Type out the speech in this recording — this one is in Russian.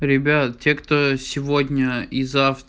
ребят те кто сегодня и